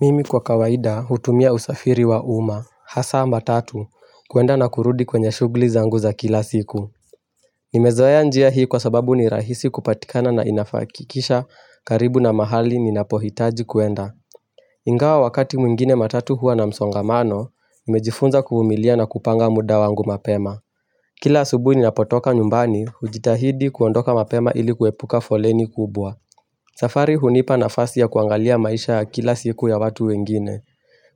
Mimi kwa kawaida hutumia usafiri wa uma, hasa matatu, kwenda na kurudi kwenye shughuli zangu za kila siku. Nimezoea njia hii kwa sababu ni rahisi kupatikana na inakufikisha karibu na mahali ninapohitaji kwenda. Ingawa wakati mwingine matatu huwa na msongamano, nimejifunza kuvumilia na kupanga muda wangu mapema. Kila asubuhi ninapotoka nyumbani, hujitahidi kuondoka mapema ili kuepuka foleni kubwa. Safari hunipa nafasi ya kuangalia maisha ya kila siku ya watu wengine.